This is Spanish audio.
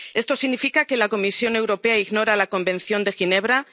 mes. ¿Esto significa que la Comisión Europea ignora la Convención de Ginebra?